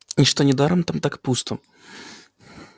и что недаром там так пусто